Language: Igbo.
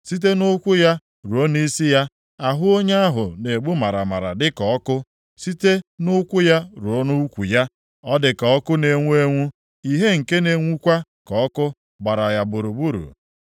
Site nʼụkwụ ya ruo nʼisi ya, ahụ onye ahụ na-egbu maramara dịka ọkụ. Site nʼụkwụ ya ruo nʼukwu ya, ọ dị ka ọkụ na-enwu enwu, ìhè nke na-enwukwa ka ọkụ gbara ya gburugburu.